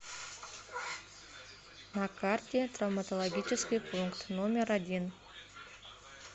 на карте травматологический пункт номер один